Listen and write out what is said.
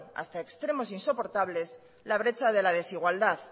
hasta extremos insoportables la brecha de la desigualdad